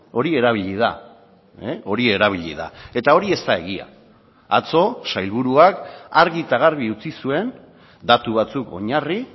hori erabili da hori erabili da eta hori ez da egia atzo sailburuak argi eta garbi utzi zuen datu batzuk oinarri